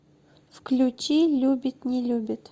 включи любит не любит